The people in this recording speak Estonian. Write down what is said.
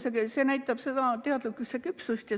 See soov näitab teadlikkuse küpsust.